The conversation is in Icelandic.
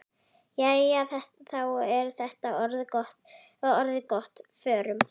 Jæja, þá er þetta orðið gott. Förum.